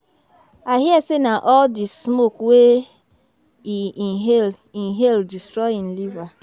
I hear say na all the smoke wey e inhale inhale destroy im liver